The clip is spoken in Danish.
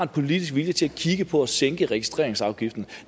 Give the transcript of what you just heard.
politisk vilje til at kigge på at sænke registreringsafgiften